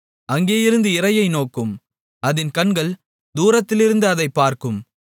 அங்கேயிருந்து இரையை நோக்கும் அதின் கண்கள் தூரத்திலிருந்து அதைப் பார்க்கும்